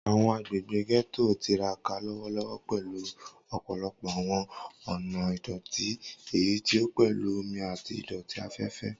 Awọn agbegbe Getto n tiraka lọwọlọwọ pẹlu ọpọlọpọ awọn ọna idoti, eyiti o pẹlu omi ati idoti afẹfẹ.